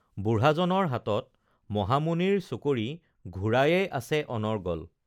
বুঢ়াজনৰ হাতত মহামুনিৰ চকৰি ঘূৰায়েই আছে অনৰ্গল